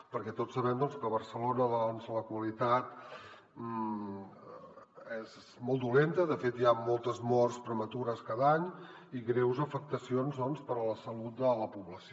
perquè tots sabem que a barcelona la qualitat és molt dolenta de fet hi ha moltes morts prematures cada any i greus afectacions per a la salut de la població